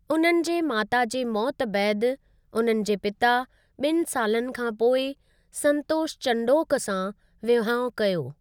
उननि जे माता जे मौत बैदि, उननि जे पिता ॿिनि सालनि खां पोइ संतोष चंडोक सां विहांउ कयो।